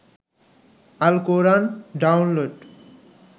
Al Quran download